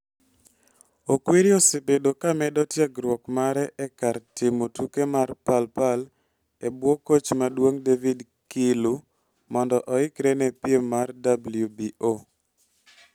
Okwiri osebedo ka medo tiegruok mare e kar timo tuke mar Pal Pal e bwo koch maduong' David Kiilu mondo oikre ne piem mar WBO.